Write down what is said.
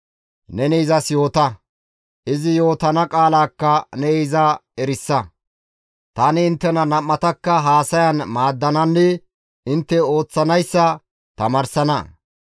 Neni izas yoota; izi yootana qaalaakka ne iza erisa; tani inttena nam7atakka haasayan maaddananne intte ooththanayssa tamaarsana.